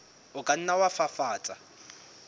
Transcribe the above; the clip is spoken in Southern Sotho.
o ka nna wa fafatsa